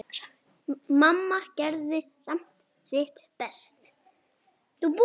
Mamma gerði samt sitt besta.